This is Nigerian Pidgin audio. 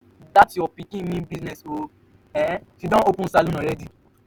dat your pikin mean business ooo. um she don open salon already.